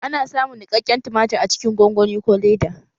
Ana samun niƙaƙƙen tumatir a cikin gongoni ko leda